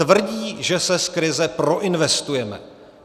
Tvrdí, že se z krize proinvestujeme.